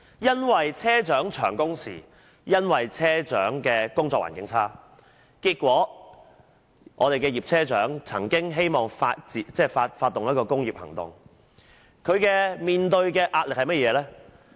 由於車長工時長、工作環境差，結果葉車長希望發動工業行動，但她面對甚麼壓力？